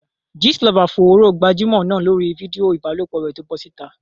Gist lover fòòró gbajúmọ̀ náà lórí fídíò ìbálòpọ̀ rẹ̀ tó bọ́ síta.